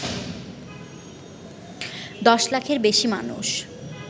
দশ লাখের বেশি মানুষ